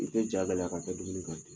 I tɛ jagɛlɛya ka bɛ dumuni